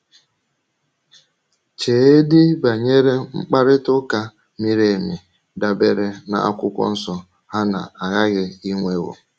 Cheedị banyere mkparịta ụka miri emi dabeere n’Akwụkwọ Nsọ ha na-agaghị inwewo.